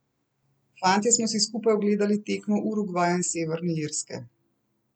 Fantje smo si skupaj ogledali tekmo Urugvaja in Severne Irske.